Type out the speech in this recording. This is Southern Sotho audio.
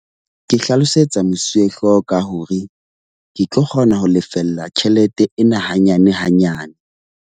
Ke hlalosetsa mosuwehlooho ka hore ke tlo kgona ho lefella tjhelete ena hanyane hanyane.